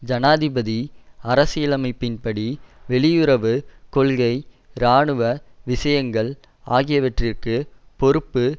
ஜனாதிபதி அரசியலமைப்பின்படி வெளியுறவு கொள்கை இராணுவ விஷயங்கள் ஆகியவற்றிற்கு பொறுப்பு